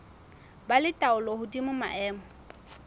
ba le taolo hodima maemo